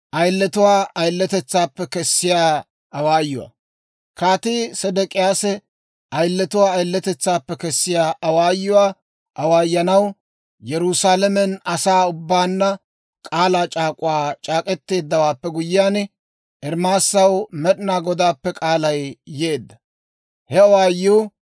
Kaatii Sedek'iyaasi ayiletuwaa ayiletetsaappe kessiyaa awaayuwaa awaayanaw Yerusaalamen asaa ubbaanna k'aalaa c'aak'uwaa c'aak'k'eteeddawaappe guyyiyaan, Ermaasaw Med'inaa Godaappe k'aalay yeedda. He awaayuu,